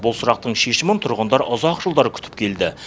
бұл сұрақтың шешімін тұрғындар ұзақ жылдар күтіп келді